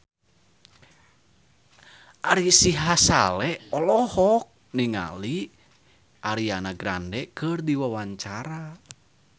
Ari Sihasale olohok ningali Ariana Grande keur diwawancara